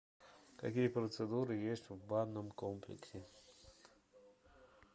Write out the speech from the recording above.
какие процедуры есть в банном комплексе